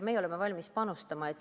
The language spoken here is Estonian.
Meie oleme valmis panustama.